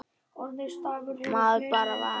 Maður bara varð